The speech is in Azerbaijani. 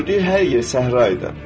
gördüyü hər yer səhra idi.